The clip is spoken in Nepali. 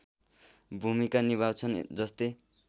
भूमिका निभाउँछन् जस्तै